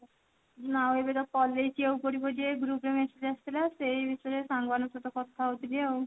ନା ଏବେ ତ collage ଯିବାକୁ ପଡିବ ଯେ group ରେ message ଆସିଥିଲା ସେଇ ବିଷୟରେ ସାଙ୍ଗମାନଙ୍କ ସହ କଥା ଆଉଥିଲି ଆଉ